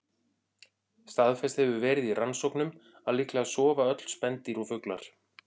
Staðfest hefur verið í rannsóknum að líklega sofa öll spendýr og fuglar.